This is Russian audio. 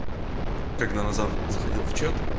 когда назад заходил в чат